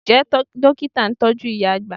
Ǹjẹ́ Dókítà ń tọ́jú ìyá àgbà?